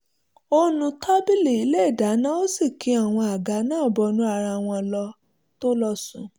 ó nu tábìlì ilé ìdáná ó sì ki àwọn àga náà bọnú ara wọn kó tó lọ sùn